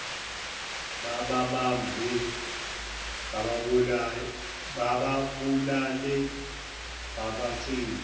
bababambe bababulale babacwiye